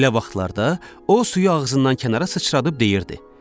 Belə vaxtlarda o suyu ağzından kənara sıçradıb deyirdi: